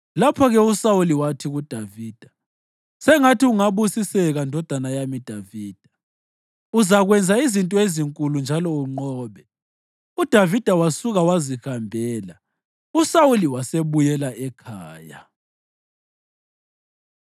Lapho-ke uSawuli wathi kuDavida, “Sengathi ungabusiseka, ndodana yami Davida; uzakwenza izinto ezinkulu njalo unqobe.” UDavida wasuka wazihambela, uSawuli wasebuyela ekhaya.